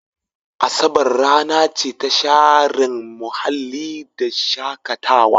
Asabar rana ce ta sharen muhalli da shakatawa.